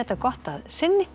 gott að sinni